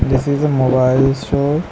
This is a mobile store.